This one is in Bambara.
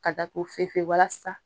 Ka da ko fefe walasa